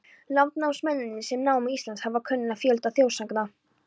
Landnámsmennirnir, sem námu Ísland, hafa kunnað fjölda þjóðsagna.